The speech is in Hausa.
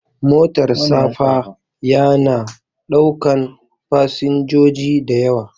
Motar safa ya na ɗaukan fasinjoji da yawa